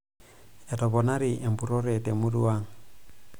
Etoponari empurrore temurua ang'.